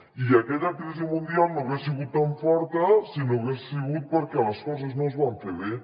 i aquella crisi mundial no hagués sigut tan forta si no hagués sigut perquè les coses no es van fer bé